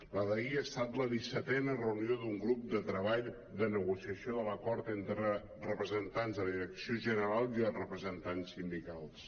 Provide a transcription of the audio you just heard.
la d’ahir ha estat la dissetena reunió d’un grup de treball de negociació de l’acord entre representants de la direcció general i els representants sindicals